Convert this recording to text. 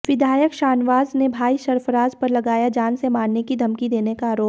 विधायक शाहनवाज ने भाई सरफराज पर लगाया जान से मारने की धमकी देने का आरोप